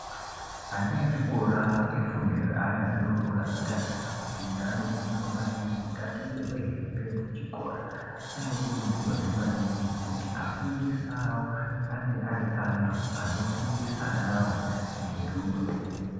Ana echikora efundo yeana adodori asati atanga kufunda ano kurudzirwa maningi kuti atengerwe hembe dzechikora ano kurudzirwazve maningi kuti afundisi awo ange ari antu ano fundisa anawo ngerudo.